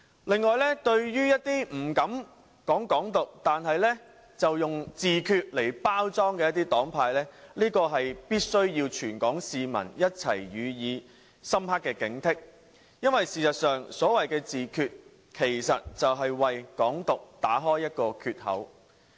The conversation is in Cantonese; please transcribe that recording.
此外，對於一些不敢倡議"港獨"但卻採用自決來包裝的黨派，全港市民需要一起予以深刻警惕，因為所謂的自決，其實就是為"港獨"打開一個缺口。